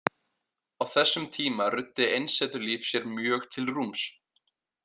Á þessum tíma ruddi einsetulíf sér mjög til rúms.